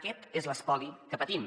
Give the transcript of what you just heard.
aquest és l’espoli que patim